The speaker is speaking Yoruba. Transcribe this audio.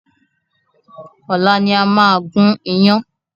Ọ̀la ni a máa gun iyán